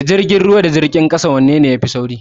Da jirgin ruwa da jirgin kasa wai wanne ne yafi sauri?